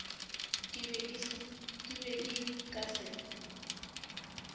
di be di ka se